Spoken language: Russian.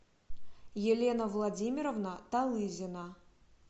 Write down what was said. елена владимировна талызина